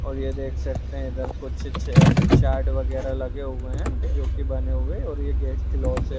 और ये देख सकते हैं इधर कुछ छे -चार्ट वगेरा लगे हुए हैं जो की बने हुए हैं और ये गेस्ट लॉज है |